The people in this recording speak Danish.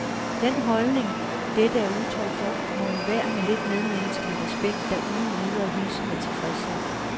Den holdning, dette er udtryk for, må enhver med lidt medmenneskelig respekt da uden videre hilse med tilfredshed.